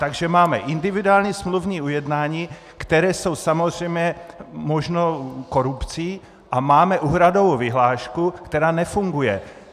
Takže máme individuální smluvní ujednání, která jsou samozřejmě možnou korupcí, a máme úhradovou vyhlášku, která nefunguje.